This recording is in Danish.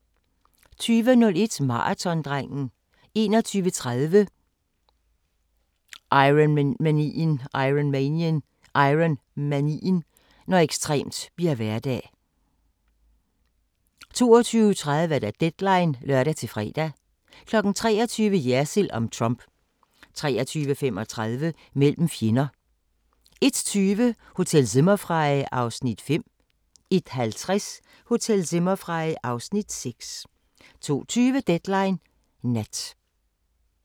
20:01: Maratondrengen 21:30: Ironmanien – Når ekstremt bliver hverdag 22:30: Deadline (lør-fre) 23:00: Jersild om Trump 23:35: Mellem fjender 01:20: Hotel Zimmerfrei (Afs. 5) 01:50: Hotel Zimmerfrei (Afs. 6) 02:20: Deadline Nat